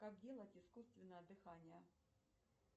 как делать искусственное дыхание